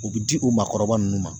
U bɛ di u maakɔrɔba ninnu ma